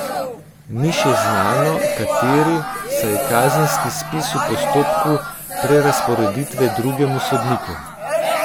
Ni še znano, kateri, saj je kazenski spis v postopku prerazporeditve drugemu sodniku.